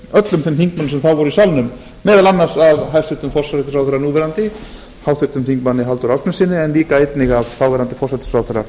öllum þeim þingmönnum sem þá voru í salnum meðal annars af hæstvirtum forsætisráðherra núv háttvirtur þingmaður halldór ásgrímssyni en líka einnig af þáv forsætisráðherra